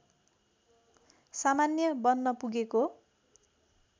सामान्य बन्न पुगेको